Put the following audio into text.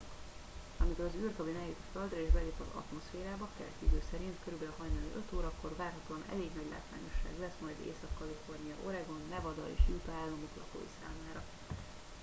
amikor az űrkabin eljut a földre és belép az atmoszférába keleti idő szerint kb. hajnali 5 órakor várhatóan elég nagy látványosság lesz majd észak-kalifornia oregon nevada és utah államok lakói számára